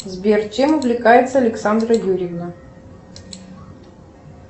сбер чем увлекается александра юрьевна